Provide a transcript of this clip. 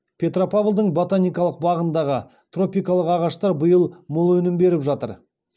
петропавлдың ботаникалық бағындағы тропикалық ағаштар биыл мол өнім беріп жатыр